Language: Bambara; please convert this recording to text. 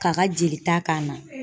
K'a ka jelita k'a na